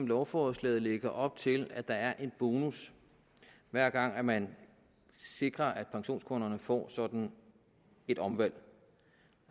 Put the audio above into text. lovforslaget lægger op til at der er en bonus hver gang man sikrer at pensionskunderne får sådan et omvalg